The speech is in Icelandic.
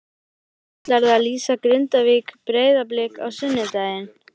Svo ætlarðu að lýsa Grindavík- Breiðablik á sunnudaginn?